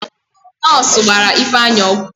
Nọọsụ gbara Ifeanyị ọgwụ